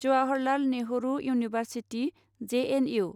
Jawaharlal Nehru university J N U